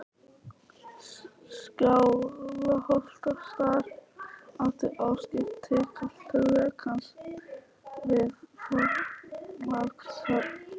Skálholtsstaður átti óskipt tilkall til rekans við Þorlákshöfn.